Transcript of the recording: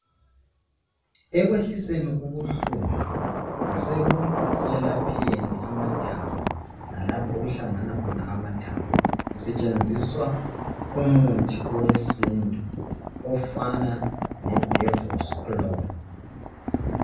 Ekwehliseni ubuhlungu lasekuyelapheni amathambo lalapha okuhlangana khona amathambo kusetshenziswa umuthi owesintu ofana ledevosiklo.